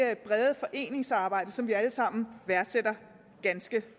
brede foreningsarbejde som vi alle sammen værdsætter ganske